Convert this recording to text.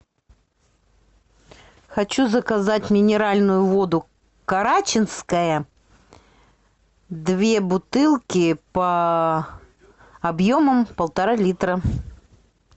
хочу заказать минеральную воду карачинская две бутылки по объемом полтора литра